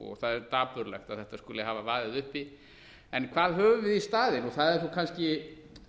og það er dapurlegt að þetta skuli hafa vaðið uppi en hvað höfum við í staðinn það er kannski